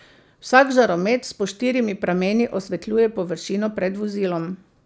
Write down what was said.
Vsak žaromet s po štirimi prameni osvetljuje površino pred vozilom.